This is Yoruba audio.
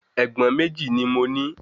Ègbọ́n méjì ni mo ní